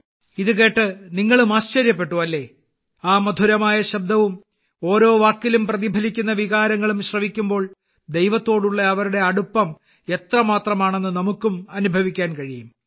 ഇത് കേട്ട് നിങ്ങളും ആശ്ചര്യപ്പെട്ടു അല്ലേ ആ മധുരമായ ശബ്ദവും ഓരോ വാക്കിലും പ്രതിഫലിക്കുന്ന വികാരങ്ങളും ശ്രവിക്കുമ്പോൾ ദൈവത്തോടുള്ള അവരുടെ അടുപ്പം എത്രമാത്രമാണെന്ന് നമുക്കും അനുഭവിക്കാൻ കഴിയും